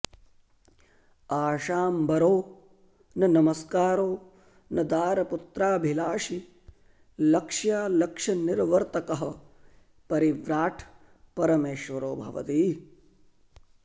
आशाम्बरो न नमस्कारो न दारपुत्राभिलाषी लक्ष्यालक्ष्यनिर्वर्तकः परिव्राट् परमेश्वरो भवति